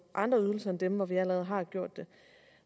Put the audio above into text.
andre ydelser end dem hvor vi allerede har gjort det